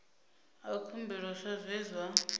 a khumbelo sa zwe zwa